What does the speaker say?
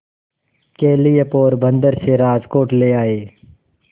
के लिए पोरबंदर से राजकोट ले आए